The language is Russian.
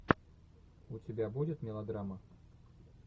у тебя будет мелодрама